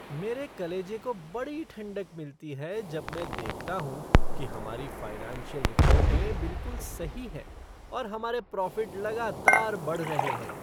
मेरे कलेजे को बड़ी ठंडक मिलती है जब मैं देखता हूँ कि हमारी फ़ाइनेंशियल रिपोर्टें बिलकुल सही हैं और हमारे प्रॉफ़िट लगातार बढ़ रहे हैं।